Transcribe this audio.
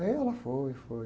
Aí ela foi, foi.